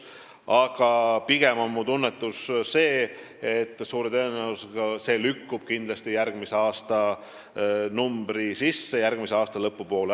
Aga minu tunnetus on pigem see, et suure tõenäosusega lükkub see järgmise aastanumbri sisse, see toimub järgmise aasta lõpupoole.